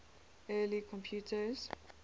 early computers